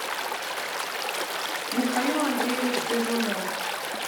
михаил андреевич лизунов